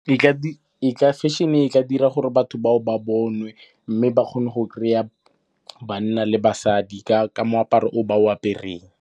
Fashion-e ka dira gore batho bao ba bonwe, mme ba kgone go kry-a banna le basadi ka moaparo o ba o apereng.